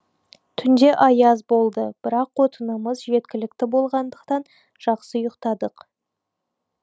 түнде аяз болды бірақ отынымыз жеткілікті болғандықтан жақсы ұйықтадық